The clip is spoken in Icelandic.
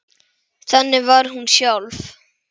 Þannig var hún sjálf.